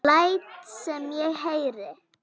Læt sem ég heyri.